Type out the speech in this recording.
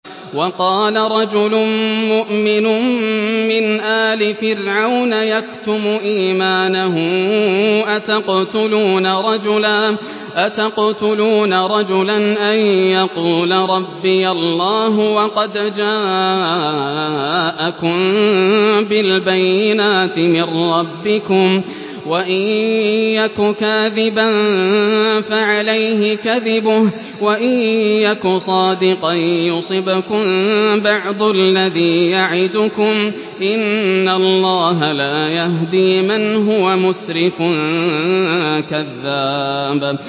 وَقَالَ رَجُلٌ مُّؤْمِنٌ مِّنْ آلِ فِرْعَوْنَ يَكْتُمُ إِيمَانَهُ أَتَقْتُلُونَ رَجُلًا أَن يَقُولَ رَبِّيَ اللَّهُ وَقَدْ جَاءَكُم بِالْبَيِّنَاتِ مِن رَّبِّكُمْ ۖ وَإِن يَكُ كَاذِبًا فَعَلَيْهِ كَذِبُهُ ۖ وَإِن يَكُ صَادِقًا يُصِبْكُم بَعْضُ الَّذِي يَعِدُكُمْ ۖ إِنَّ اللَّهَ لَا يَهْدِي مَنْ هُوَ مُسْرِفٌ كَذَّابٌ